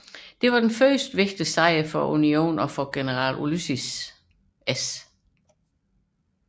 Det var den første vigtige sejr for Unionen og for general Ulysses S